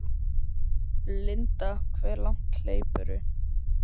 Linda: Hve langt hleypur þú?